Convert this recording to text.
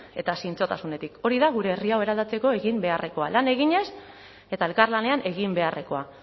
eta zintzotasunetik hori da gure herri hau eraldatzeko egin beharrekoa lan eginez eta elkarlanean egin beharrekoa